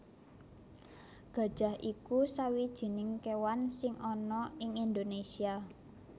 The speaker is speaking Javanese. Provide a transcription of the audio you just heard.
Gajah iku sawijining kéwan sing ana ing Indonésia